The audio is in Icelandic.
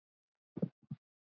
Lítið atvik lýsir henni vel.